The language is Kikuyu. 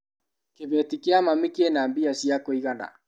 Kĩbeti kia mami kĩna mbia cia kũigana.